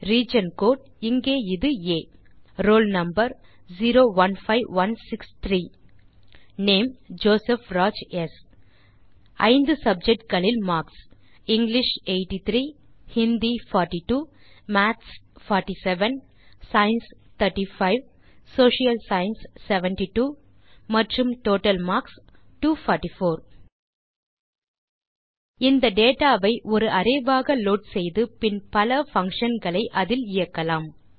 region code இங்கே இது ஆ roll number 015163 name Joseph Raj ஸ் 5 சப்ஜெக்ட் களில் Marks English 083 Hindi 042 maths 47 science 35 Social science 72 மற்றும் டோட்டல் மார்க்ஸ் 244 இந்த டேட்டா ஐ ஒரு அரே ஆக லோட் செய்து பின் பல பங்ஷன் களை அதில் இயக்கலாம்